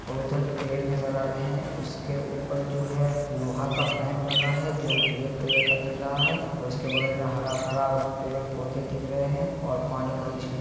और इधर पेड़ नज़र आ रहे है उसके ऊपर जो है लोहे का पाइप लगा है जो ब्लैक कलर का दिख रहा है और उसके बगल में हरा भरा पेड़ पौधे दिख रहे हैं और पानी बहुत --